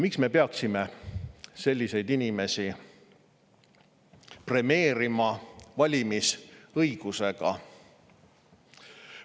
Miks me peaksime selliseid inimesi premeerima valimisõigusega?